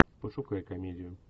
пошукай комедию